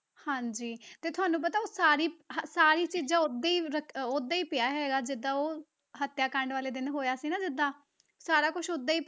ਹਾਂਜੀ ਤੇ ਤੁਹਾਨੂੰ ਉਹ ਸਾਰੀ ਸਾਰੀ ਚੀਜ਼ਾਂ ਓਦਾਂ ਹੀ ਰੱਖ ਓਦਾਂ ਹੀ ਪਿਆ ਹੈਗਾ ਜਿੱਦਾਂ ਉਹ ਹੱਤਿਆ ਕਾਂਡ ਵਾਲੇ ਦਿਨ ਹੋਇਆ ਸੀ ਨਾ ਜਿੱਦਾਂ, ਸਾਰਾ ਕੁਛ ਓਦਾਂ ਹੀ,